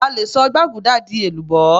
a lè sọ gbaguda di èlùbó